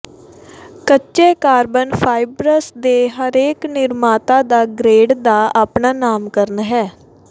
ਕੱਚੇ carbon fibres ਦੇ ਹਰੇਕ ਨਿਰਮਾਤਾ ਦਾ ਗਰੇਡ ਦਾ ਆਪਣਾ ਨਾਮਕਰਣ ਹੈ